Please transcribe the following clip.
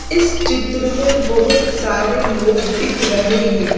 इस चित्र में बहुत सारे लोग दिख रहे हैं।